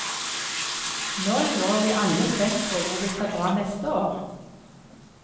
Nå lurer vi alle spent på hvor vi skal dra neste år.